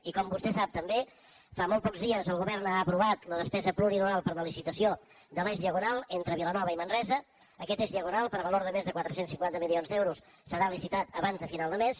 i com vostè sap també fa molt pocs dies el govern ha aprovat la despesa plurianual per a la licitació de l’eix diagonal entre vilanova i manresa aquest eix diagonal per valor de més de quatre cents i cinquanta milions d’euros serà licitat abans de final de mes